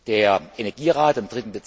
Der Energierat am